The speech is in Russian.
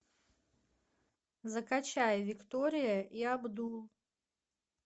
закачай виктория и абдул